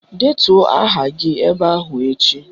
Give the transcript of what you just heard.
Detuo aha gị ebe ahụ echi!